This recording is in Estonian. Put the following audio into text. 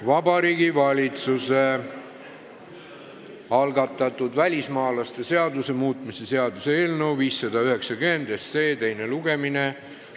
Vabariigi Valitsuse algatatud välismaalaste seaduse muutmise seaduse eelnõu 590 teine lugemine.